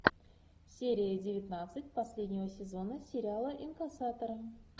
серия девятнадцать последнего сезона сериала инкассаторы